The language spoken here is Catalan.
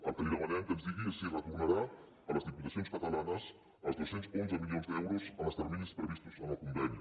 el que li demanem que ens digui és si retor·narà a les diputacions catalanes els dos cents i onze milions d’eu·ros en els terminis previstos en el conveni